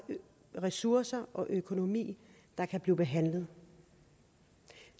ressourcer og økonomi der kan blive behandlet